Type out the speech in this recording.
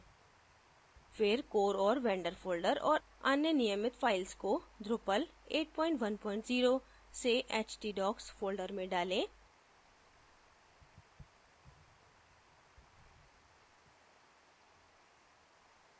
फिर core और vendor folders और अन्य नियमित files को drupal810 से htdocs folders में डालें